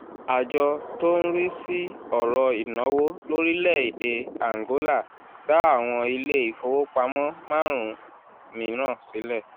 àjọ tó ń rí sí ọ̀rọ̀ ìnáwó lórílẹ̀-èdè àǹgólà dá àwọn ilé ìfowópamọ́ márùn-ún mìíràn sílẹ̀